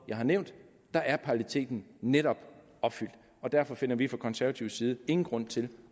jeg har nævnt er paralleliteten netop opfyldt derfor finder vi fra konservativ side ingen grund til